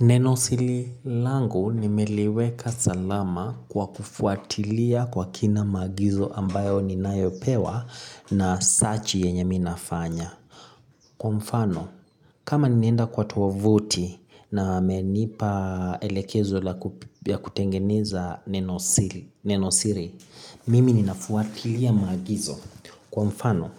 Nenosiri langu nimeliweka salama kwa kufuatilia kwa kina maagizo ambayo ninayopewa na sachi yenye mimi nafanya. Kwa mfano, kama ninaenda kwa tovuti na wamenipa elekezo ya kutengeneza nenosiri, mimi ninafuatilia maagizo. Kwa mfano,